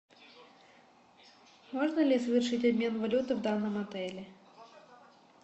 можно ли совершить обмен валюты в данном отеле